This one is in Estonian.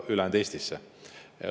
Ülejäänud Eestisse.